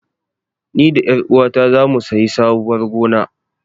Ni da ƴaruwata zamu sayi sabuwar gona.